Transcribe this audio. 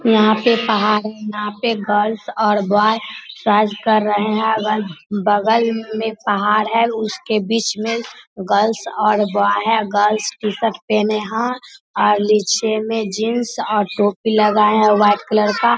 यहाँ पे पहाड़ है यहाँ पे गर्ल्स और बॉय एक्सरसाइज कर रहे है अगल-बगल में पहाड़ है उसके बीच में गर्ल्स और बॉय है गर्ल्स टी-शर्ट पहने है और नीचे में जीन्स और टोपी लगाए है व्हाइट कलर का |